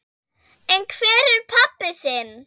En hvar er pabbi þinn?